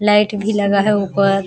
light भी लगा है ऊपर --